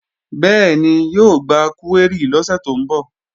Bẹ́ẹ̀ni, yóò gba kúwérì lọ́sẹ̀ tó ń bọ̀